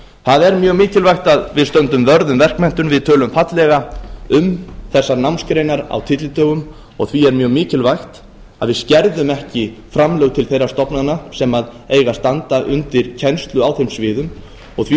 það er mjög mikilvægt að við stöndum vörð um verkmenntun við tölum fallega um þessar námsgreinar á tyllidögum og því er mjög mikilvægt að við skerða ekki framlög til þeirra stofnana sem eiga að standa undir kennslu á þeim sviðum og því